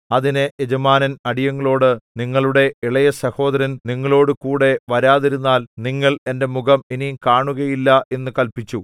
അതിന് യജമാനൻ അടിയങ്ങളോട് നിങ്ങളുടെ ഇളയസഹോദരൻ നിങ്ങളോടുകൂടെ വരാതിരുന്നാൽ നിങ്ങൾ എന്റെ മുഖം ഇനി കാണുകയില്ല എന്നു കല്പിച്ചു